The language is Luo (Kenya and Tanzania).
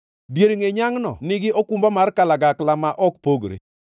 Dier ngʼe nyangʼno nigi okumba mar kalagakla ma ok pogre;